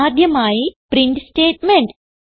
ആദ്യമായി print statement